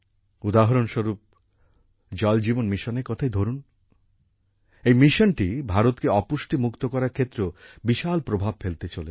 উদাহরণস্বরূপ জল জীবন মিশনের কথাই ধরুন এই মিশনটি ভারতকে অপুষ্টি মুক্ত করার ক্ষেত্রেও বিশাল প্রভাব ফেলতে চলেছে